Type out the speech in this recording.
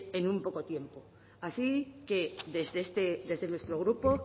en muy poco tiempo así que desde nuestro grupo